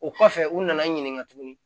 O kɔfɛ u nana n ɲininka tuguni